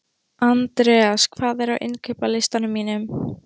Andreas, hvað er á innkaupalistanum mínum?